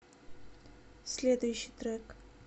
следующий трек